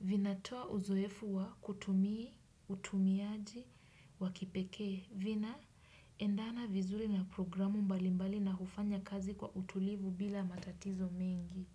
vinatoa uzoefu wa kutumia, utumiaji, wa kipekee, vinaendana vizuri na programu mbalimbali na hufanya kazi kwa utulivu bila matatizo mingi.